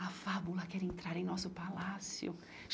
A Fábula quer entrar em nosso palácio.